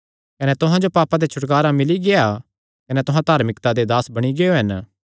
कने तुहां जो पापां ते छुटकारा मिल्ली गेआ कने तुहां धार्मिकता दे दास बणी गियो हन